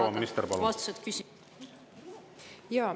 Proua minister, palun!